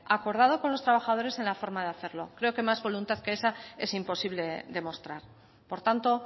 acordado con los trabajadores en la forma de hacerlo creo que más voluntad que esa es imposible demostrar por tanto